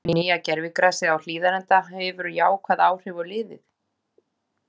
Mun nýja gervigrasið á Hlíðarenda hefur jákvæð áhrif á liðið?